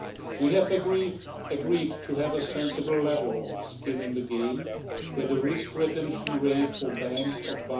We have agreed to have a sensible level of skin in the game, with the risk retention rate for banks of